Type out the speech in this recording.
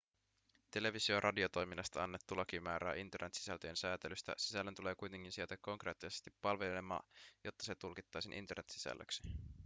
televisio- ja radiotoiminnasta annettu laki määrää internet-sisältöjen sääntelystä sisällön tulee kuitenkin sijaita konkreettisesti palvelimella jotta se tulkittaisiin internet-sisällöksi